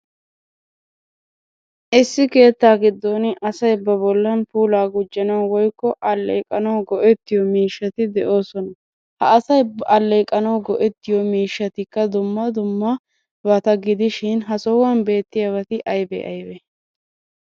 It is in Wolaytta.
Issi keettaa giddon asay ba bollan puulaa gujjanawu woykko alleeqanawu go'ettiyo miishshati de'oosona. Ha asay ba alleeqanawu go'ettiyo miishshatikka dumma dummabata gidishin ha sohuwan beettiyabati ayibee ayibee?